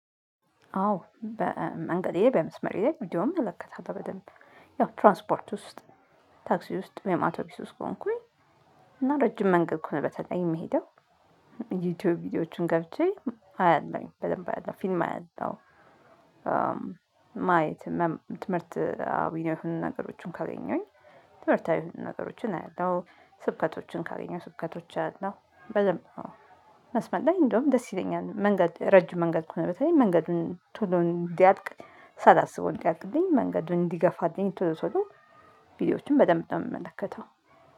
አዎ በመንገዴ በመስመሬ ላይ እንደውም እመለከታለሁ በደንብ ያው ትራንስፖርት ውስጥ ታክሲ ውስጥ ወይም አቶቢስ ውስጥ ከሆንኩኝ እና ረጅም መንገድ ከሆነ በተለይ የምሄደው ዩቲዩብ ቪዲዮዎችን ገብቼ አያለሁኝ በደንብ አያለሁ ፊልም አያለሁ ማየት ትምህርታዊ የሆኑ ነገሮችን ካገኘሁኝ ትምህርታዊ የሆኑ ነገሮችን አያለሁ ስብከቶችን ካገኘሁ ስብከቶች አያለሁ በደንብ ነው። መስመር ላይ እንደውም ደስ ይለኛል መንገድ ረጅም መንገድ ከሆነ በተለይ መንገዱን ቶሎ እንዲያልቅ ሳላስበው እንዲያልቅልኝ መንገዱን እንዲገፋልኝ ቶሎ ቶሎ ቪዲዮዎችን በደንብ ነው የምመለከተው